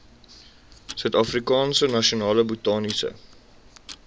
suidafrikaanse nasionale botaniese